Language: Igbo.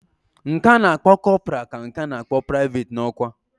Nke ana akpo corporal ka nke ana akpo private na okwa.